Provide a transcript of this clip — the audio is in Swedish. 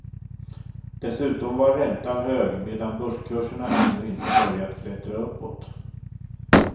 Dessutom var räntan hög medan börskurserna ännu inte börjat klättra uppåt.